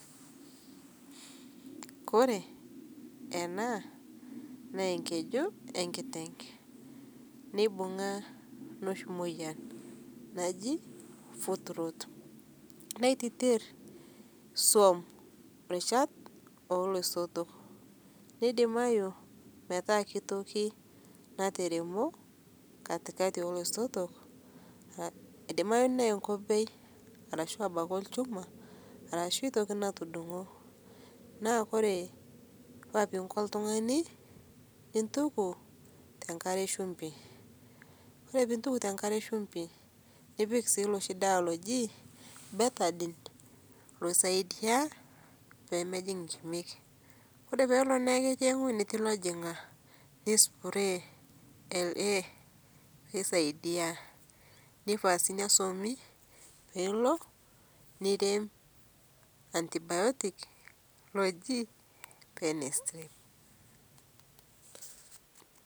oree enaa naa enkeju enkiteng neibung'a nooshi moyian najii foot rot netitir swam irishat ooloisoto neidimadu tenaa ketii toki nataremo katikati ooloisoto eidimayu naa enkobei anaa olchuma arashuu ketii toki natudung'o naa koree eneiko oltung'ani intuku tenkare eshumbi nipik sii looshi dawa oji bettergent peisaidia pemejing' inkimek oree peloo eweji natii ilojong'ak neispurei LA neisaidia. neifaa sininye swami nirem antibiotic oji [s]pennicilin.